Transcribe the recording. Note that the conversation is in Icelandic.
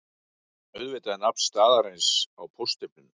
Auðvitað er nafn staðarins á póststimplinum